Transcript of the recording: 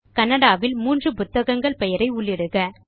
கன்னடா இல் 3 புத்தகங்கள் பெயரை உள்ளிடுக